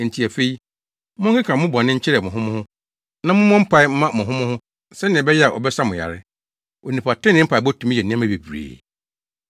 Enti afei, monkeka mo bɔne nkyerɛ mo ho mo ho, na mommobɔ mpae mma mo ho mo ho sɛnea ɛbɛyɛ a wɔbɛsa mo yare. Onipa trenee mpaebɔ tumi yɛ nneɛma bebree.